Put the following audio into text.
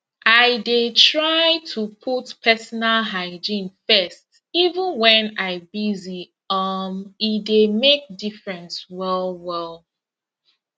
i dey try to put personal hygiene first even when i busy um e dey make difference well well